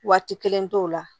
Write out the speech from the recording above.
Waati kelen t'o la